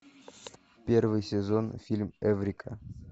первый сезон фильм эврика